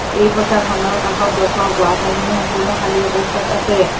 এই পথাৰখনৰ কাষত দৰ্শক বহা ঠাইখিনি সম্পূৰ্ণ খালি অৱস্থাত আছে।